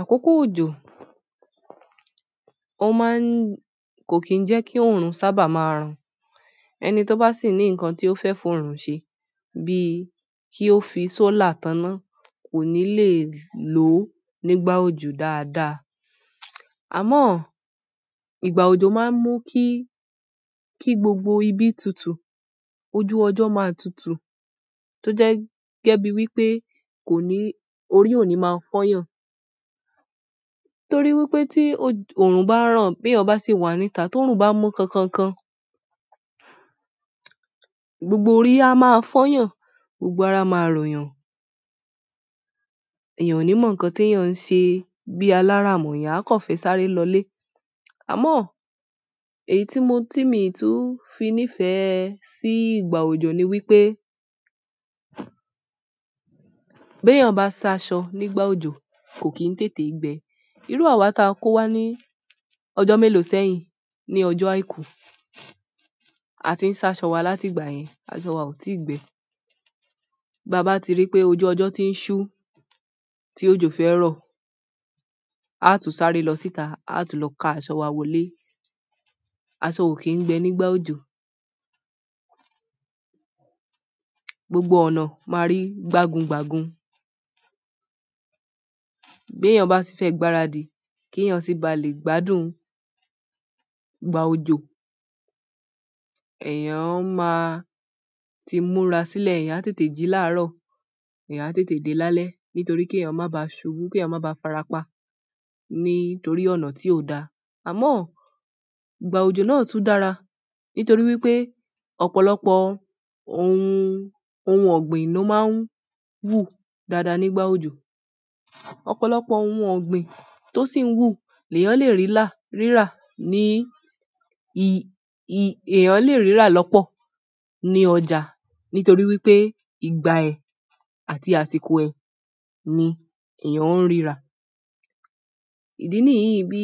Àkókò òjò, ó máa ń kò kí ń jẹ́ kí òòrùn sábà máa ràn. Ẹni tó bá sì ní nǹkan tí ó fẹ́ f'òòrùn ṣe bí i kí ó fi sólàr táná kò ní le lo o nígbà òjò dáadáa. Àmọ́, ìgbà òjò máa ń mú kí, kí gbogbo ibi tutù, ojú ọjọ́ máa tutù tó jẹ́ gẹ́gẹ́ bí wípé kò ní-- orí ò ní máa fọ́yàn. Torí wípé tí òòrùn bá ràn bí eeyan bá sì wà níta, t'oòrùn bá mú kankankan, gbogbo orí a máa f'oọ́yàn, gbogbo ara máa r'oòyàn. Ẹ̀eyàn ò ní mọ̀ ǹkan t'eẹ̀yàn ń ṣe bí alára mọ́, ẹ̀eyan a kan fẹ́ sáré lọlé. Àmọ́ èyí tí mo-- tí mii tún fi nífẹ̀ẹ́ sí ìgbà òjò ni wípé, b'ẹ̀yàn bá sa aṣọ nígbà òjò kò kí ń tètè gbẹ. Irú àwà taa kò wá ní ọjọ́ mélòó sẹ́yìn ní ọjọ́ àìkú. A ti ń sa aṣọ wa látìgbà yẹn, aṣọ wa ò tí ì gbẹ. Bàa bá ti rí í pé ojú ọjọ́ ti ń ṣú, tí òjò fẹ́ rọ, aa tún ṣaré lọ síta, aa tún lọ ka aṣọ wa wọlé. Aṣọ ò kì n gbẹ nígbà òjò. Gbogbo ọ̀nà máa rí gbàgungbàgun. B'eẹ̀yàn bá si fẹ́ gbáradì, k'eẹ̀yàn sí ba lè gbádùn ìgbà òjò, ẹ̀eyàn máa ti múra sílẹ̀, eẹ̀yàn á tètè jí láàrọ̀, eẹ̀yàn á tètè dé lálẹ́, nítorí kí eẹ̀yàn má baa ṣùkú, kí eẹ̀yàn má baa fara pa nítorí ọ̀nà tí ò daa. Àmọ́, ìgbà òjò náà tún dára, nítorí wí pé, ọ̀pọ̀lọpọ̀ ohun, ohun ọ̀gbìn ló máa ń wù dáadáa nígbà òjò. Ọ̀pọ̀lọpọ̀ ohun ọ̀gbìn tó sì ń wù lẹ́ẹ̀yàn lè rílá, rírà ní, i, i, eẹ̀yàn lè rírà lọ́pọ̀ ní ọjà, nítorí wípé ìgbà ẹ̀ àti àsìkò ẹ̀ ni ẹ̀eyàn ń rírà. Ìdí níyì bí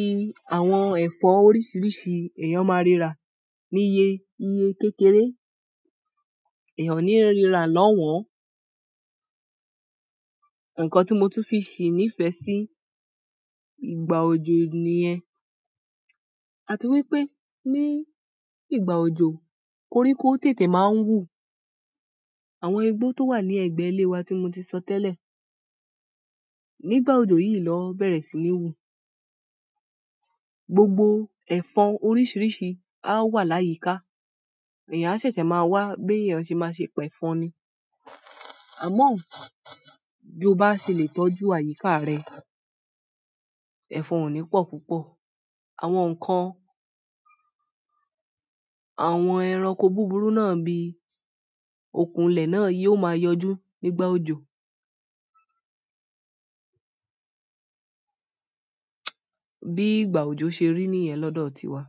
àwọn ẹ̀fọ́ oríṣiríṣi ẹ̀eyàn máa rírà. Níye iye kékeré, ẹ̀eyàn o ní ríra lọ́won. Ǹkan tí mo tún fi ṣí nífẹ̀ẹ́ sí ìgbà òjò nìyẹn. A ti wípé ní ìgbà òjò koríko tètè máa ń wù. Àwọn igbo to wa ni egbe ile wa ti mo ti so tele, nígbà ojo yìí lon bere si ni i wu. Gbogbo ẹ̀fọn oríṣiríṣi á wà láyìíká. Ẹ̀eyàn a ṣẹ̀ṣẹ̀ máa wá bí ẹ̀eyàn ṣe máa ṣe p'ẹ̀fọn ni. Àmọ́ bí ó bá ṣe lè tọ́jú àyíká rẹ, ẹ̀fọn ò ní pọ̀ púpọ̀. Àwọn ǹkan, àwọn ẹranko búburú náà bí okùn ilè náà yóò máa yọjú nígbà òjò. Bí ìgbà òjò ṣe rí nìyẹn lọ́dọ̀ tiwa.